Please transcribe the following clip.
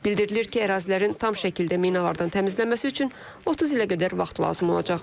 Bildirilir ki, ərazilərin tam şəkildə minalardan təmizlənməsi üçün 30 ilə qədər vaxt lazım olacaq.